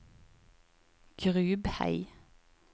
Grubhei